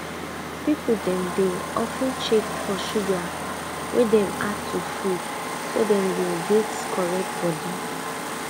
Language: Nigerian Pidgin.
people dem dey of ten check for sugar wey dem add to food so dem go get correct body